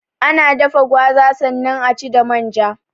Ana dafa gwaza sannan aci da manja